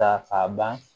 Ta a ban